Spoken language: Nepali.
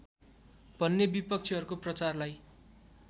भन्ने विपक्षीहरूको प्रचारलाई